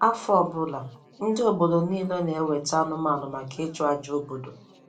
Afọ ọbụla, ndị obodo niile na-eweta anụmanụ maka ịchụ aja obodo